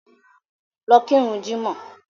Lọ kirun jímọ̀!